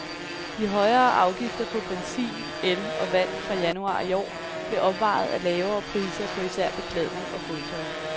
De højere afgifter på benzin, el og vand fra januar i år blev opvejet af lavere priser på især beklædning og fodtøj.